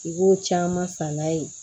I b'o caman san n'a ye